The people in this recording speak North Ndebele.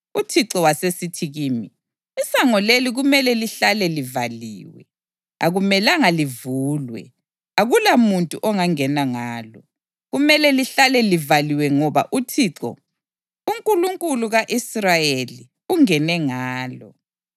UThixo wasesithi kimi, “Isango leli kumele lihlale livaliwe. Akumelanga livulwe; akulamuntu ongangena ngalo. Kumele lihlale livaliwe ngoba uThixo, uNkulunkulu ka-Israyeli, ungene ngalo.